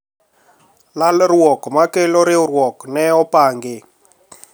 Lalruok ma kelo riwruok ne opangi